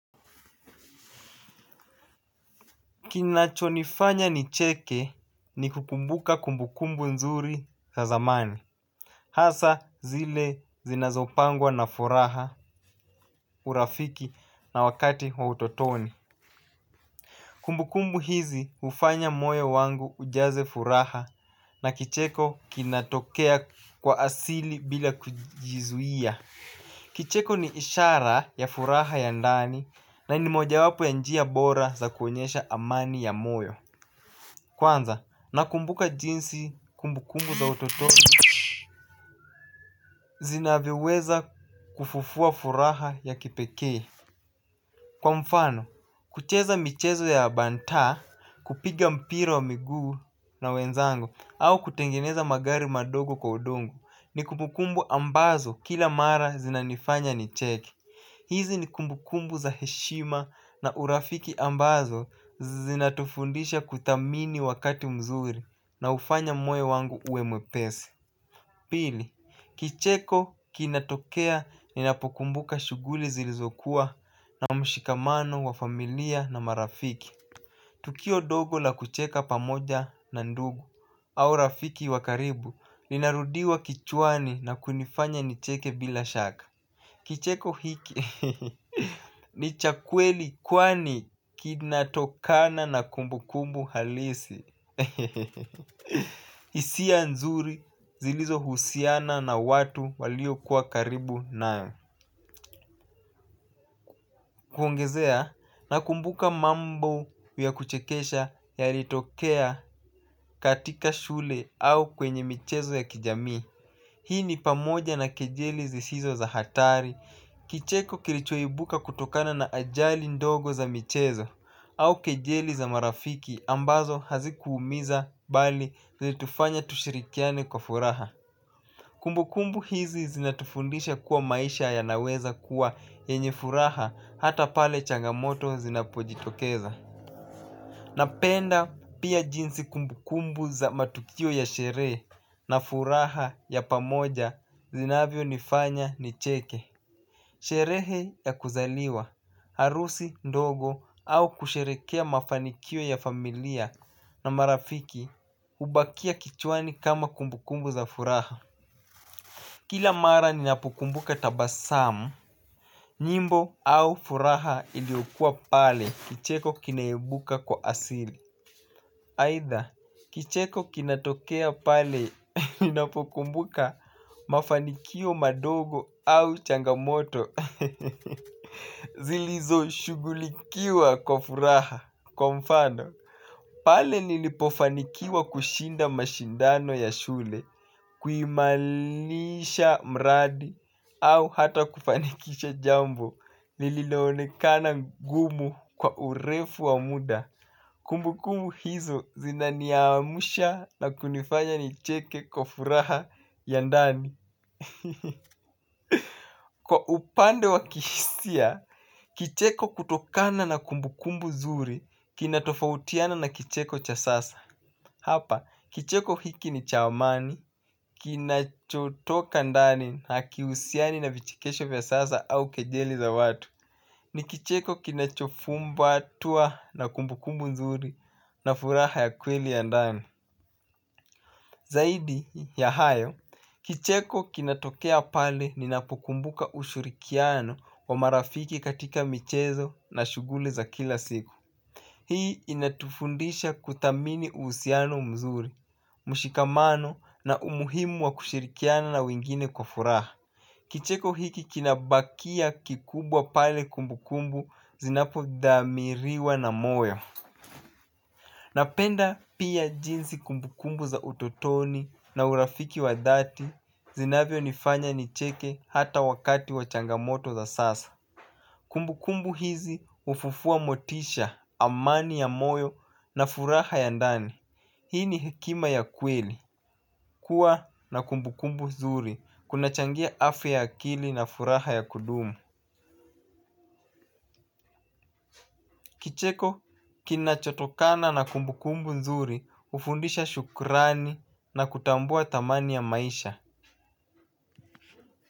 Kinachonifanya nicheke ni kukumbuka kumbukumbu nzuri za zamani hasa zile zinazopangwa na furaha urafiki na wakati wa utotoni kumbukumbu hizi hufanya moyo wangu ujaze furaha na kicheko kinatokea kwa asili bila kujizuia. Kicheko ni ishara ya furaha ya ndani na ni mojawapo ya njia bora za kuonyesha amani ya moyo. Kwanza nakumbuka jinsi kumbukumbu za utotoni zinavyoweza kufufua furaha ya kipekee kwa mfano, kucheza michezo ya banta kupiga mpira wa miguu na wenzangu au kutengeneza magari madogo kwa udongo ni kumbukumbu ambazo kila mara zinanifanya nicheke. Hizi ni kumbukumbu za heshima na urafiki ambazo zinatufundisha kuthamini wakati mzuri na hufanya moyo wangu uwe mwepesi. Pili, kicheko kinatokea ninapokumbuka shughuli zilizokuwa na mshikamano wa familia na marafiki. Tukio dogo la kucheka pamoja na ndugu au rafiki wa karibu. Linarudiwa kichwani na kunifanya nicheke bila shaka. Kicheko hiki ni cha kweli kwani kinatokana na kumbukumbu halisi hisia nzuri zilizohusiana na watu waliokuwa karibu nawe. Kuongezea nakumbuka mambo ya kuchekesha yalitokea katika shule au kwenye michezo ya kijamii hii ni pamoja na kejeli zisizo za hatari kicheko kilichoibuka kutokana na ajali ndogo za michezo au kejeli za marafiki ambazo hazikuumiza bali zilitufanya tushirikiane kwa furaha. Kumbukumbu hizi zinatufundisha kuwa maisha yanaweza kuwa yenye furaha hata pale changamoto zinapojitokeza. Napenda pia jinsi kumbukumbu za matukio ya sherehe na furaha ya pamoja zinavyonifanya nicheke. Sherehe ya kuzaliwa, harusi, ndogo au kusherekea mafanikio ya familia na marafiki hubakia kichwani kama kumbukumbu za furaha. Kila mara ninapokumbuka tabasamu, nyimbo au furaha iliyokuwa pale kicheko kinaebuka kwa asili. Aidha, kicheko kinatokea pale ninapokumbuka mafanikio madogo au changamoto zilizoshughulikiwa kwa furaha kwa mfano pale nilipofanikiwa kushinda mashindano ya shule, kuimarisha mradi au hata kufanikisha jambo, lililoonekana ngumu kwa urefu wa muda kumbukumbu hizo zinaniamsha na kunifanya nicheke kwa furaha ya ndani. Kwa upande wa kihisia, kicheko kutokana na kumbukumbu zuri. Kinatofautiana na kicheko cha sasa. Hapa kicheko hiki ni cha amani. Kinachotoka ndani hakiuhusiani na vichekesho vya sasa au kejeli za watu. Ni kicheko kinachofumbatwa na kumbukumbu nzuri na furaha ya kweli ya ndani. Zaidi ya hayo kicheko kinatokea pale ninapokumbuka ushirikiano wa marafiki katika michezo na shughuli za kila siku. Hii inatufundisha kuthamini uhusiano mzuri mshikamano na umuhimu wa kushirikiana na wengine kwa furaha. Kicheko hiki kinabakia kikubwa pale kumbukumbu zinapodhamiriwa na moyo napenda pia jinsi kumbukumbu za utotoni na urafiki wa dhati zinavyonifanya nicheke hata wakati wa changamoto za sasa. Kumbukumbu hizi hufufua motisha amani ya moyo na furaha ya ndani. Hii ni hekima ya kweli kuwa na kumbukumbu zuri kunachangia afya ya akili na furaha ya kudumu. Kicheko kinachotokana na kumbukumbu nzuri hufundisha shukrani na kutambua thamani ya maisha.